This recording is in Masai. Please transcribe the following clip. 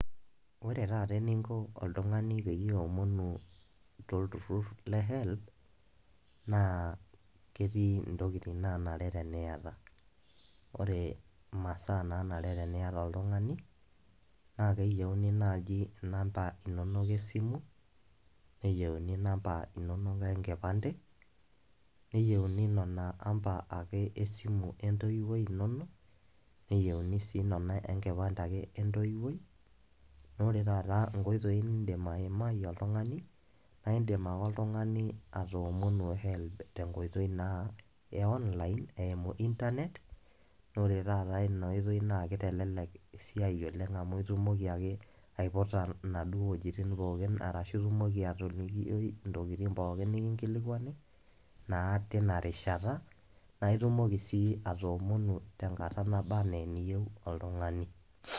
Oore taata eninko oltung'ani peyie iomonu tolturur le Helb, naa ketii intokitin nanare teniata. Oore imasaa nanare teniata oltung'ani, naa keyieuni naaji inamba inonok esimu, neyieuni inamba inonok enkipande, neyieuni inamba esimu entoiwuoi iino, oore taata inkoitoi niidim aake aimai oltung'ani naa iidim aake oltung'ani atoomonu Helb tenkoitoi ee online eimu internet oore taaata iina oitoi naa keitelelek esiai oleng amuu itumoki ake aiputa inaduoo wuejitin pooki arashu itumoki atolikioi intokitin pooki nekinkilikuani, naa teina rishata naa itumoki sii atoomonu tenkata naba enaa eniyieu oltung'ani.